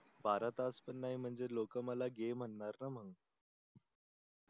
बारा तास पण नाही म्हणजे लोक मला गे म्हणारणा मग